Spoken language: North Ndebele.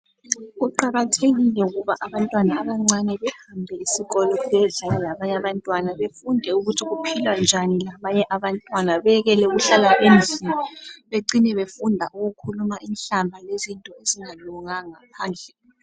Kuqakathekile ukuba abantwana abancane behambe esikolweni beyenze njengabanye abantwana befunde ukuthi kuphilwa njani labanye abantwana bekele ukuhlala emzini becine befunda ukukhuluma inhlamba lezinye izinto ezingalunganga phandle.